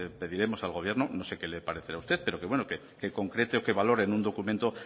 pediremos al gobierno no sé qué le parecerá a usted pero que concrete o que valore en un documento